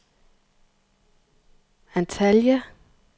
Antalya